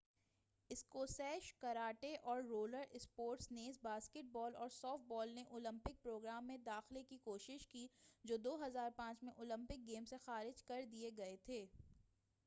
اسکوسیش karate اور roller sports نیز basketball اور سافٹ بال نے اولیمپک پروگرام میں داخلہ کی کوشش کی جو 2005 میں اولیمپک گیمس سے خارج کر دئے گئے تھے